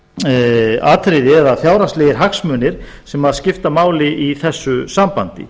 fjárhagsleg atriði eða fjárhagslegir hagsmunir sem skipta máli í þessu sambandi